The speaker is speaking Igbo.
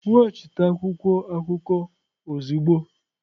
Weghachite akwụkwọ akụkọ ozugbo!